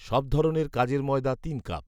সব ধরনের কাজের ময়দা তিন কাপ